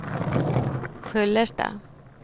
Sköllersta